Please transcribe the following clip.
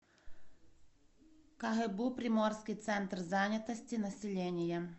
кгбу приморский центр занятости населения